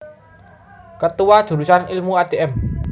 Ketua Jurusan Ilmu Adm